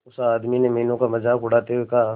उस आदमी ने मीनू का मजाक उड़ाते हुए कहा